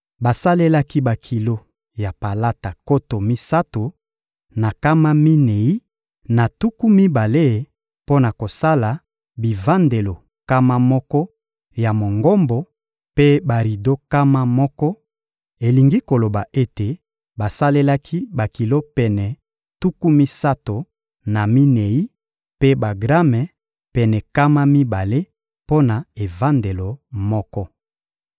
Basalelaki bakilo ya palata nkoto misato na nkama minei na tuku mibale mpo na kosala bivandelo nkama moko ya Mongombo mpe barido nkama moko: elingi koloba ete basalelaki bakilo pene tuku misato na minei mpe bagrame pene nkama mibale mpo na evandelo moko.